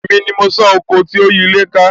Èmi ni mo san oko tí ó yí ilé ká